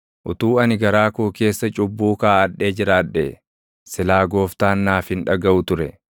Utuu ani garaa koo keessa cubbuu kaaʼadhee jiraadhee, silaa Gooftaan naaf hin dhagaʼu ture;